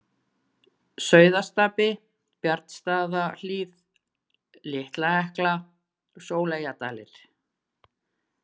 Sauðastapi, Bjarnastaðahlíð, Litla-Hekla, Sóleyjardalir